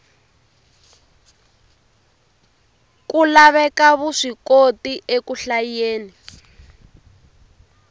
ku laveka vuswikoti eku hlayeni